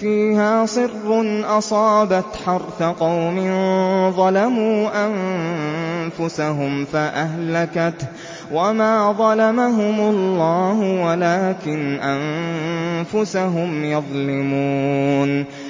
فِيهَا صِرٌّ أَصَابَتْ حَرْثَ قَوْمٍ ظَلَمُوا أَنفُسَهُمْ فَأَهْلَكَتْهُ ۚ وَمَا ظَلَمَهُمُ اللَّهُ وَلَٰكِنْ أَنفُسَهُمْ يَظْلِمُونَ